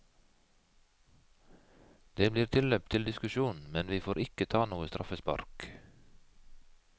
Det blir tilløp til diskusjon men vi får ikke ta noe straffespark.